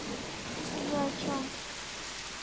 вы о чём